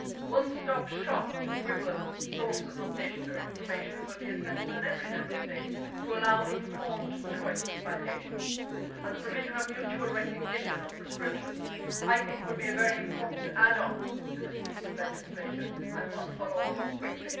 One stop shop equivalent sources of patient information will be essential in every Member State to allow informed choices by patients, and the provision of mutual recognition of prescriptions, I think, will be a very important add on to this piece of legislation and must follow on quickly.